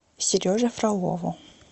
сереже фролову